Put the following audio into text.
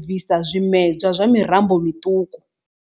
bvisa zwimedzwa zwa murambo miṱuku.